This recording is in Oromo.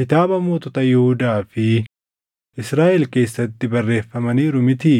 kitaaba mootota Yihuudaa fi Israaʼel keessatti barreeffamaniiru mitii?